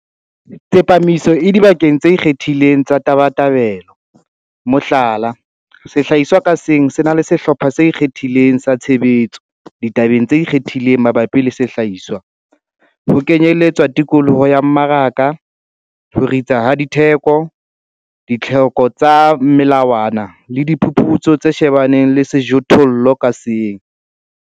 Tsepamiso e dibakeng tse ikgethileng tsa tabatabelo, mohlala, sehlahiswa ka seng se na le Sehlopha se Ikgethileng sa Tshebetso ditabeng tse ikgethileng mabapi le sehlahiswa ho kenyeletswa tikoloho ya mmaraka, ho ritsa ha ditheko, ditlhoko tsa melawana le diphuputso tse shebaneng le sejothollo ka seng.